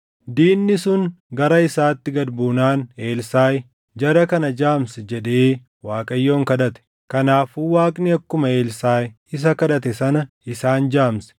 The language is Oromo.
Diinni sun gara isaatti gad buunaan Elsaaʼi, “Jara kana jaamsi” jedhee Waaqayyoon kadhate. Kanaafuu Waaqni akkuma Elsaaʼi isa kadhate sana isaan jaamse.